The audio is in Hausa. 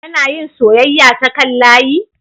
Kana yin soyayya ta kan layi?